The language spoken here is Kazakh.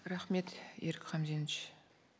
рахмет ерик хамзенович